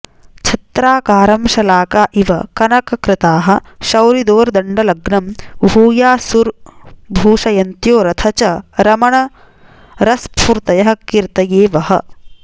छत्राकारं शलाका इव कनककृताः शौरिदोर्दण्डलग्नं भूयासुर्भूषयन्त्यो रथचरणमरस्फूर्तयःकीर्तये वः